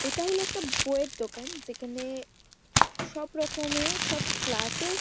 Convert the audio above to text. এটা হলো একটা বইয়ের দোকান। যেখানে সব রকমের সব ক্লাস -এর --